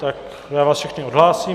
Tak já vás všechny odhlásím.